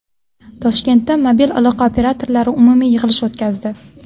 Toshkentda mobil aloqa operatorlari umumiy yig‘ilish o‘tkazdi.